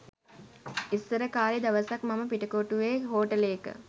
ඉස්සර කලේ දවසක් මම පිටකොටුව්වේ හෝටලේක